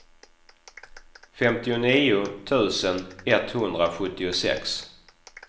femtionio tusen etthundrasjuttiosex